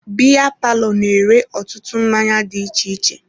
Biya palọ na-ere ọtụtụ mmanya dị iche iche.